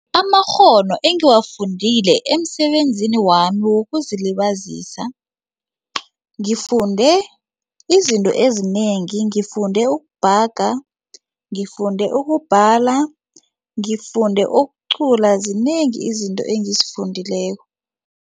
Amakghono engiwafundile emsebenzini wami wokuzilibazisa ngifunde izinto ezinengi ngifunde ukubhaga ngifunde ukubhala ngifunde ukucula zinengi izinto engizifundileko.